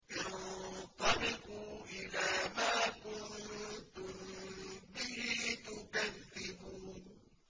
انطَلِقُوا إِلَىٰ مَا كُنتُم بِهِ تُكَذِّبُونَ